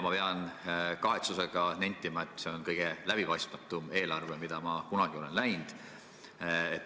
Ma pean kahetsusega nentima, et see on kõige läbipaistmatum eelarve, mida ma kunagi olen näinud.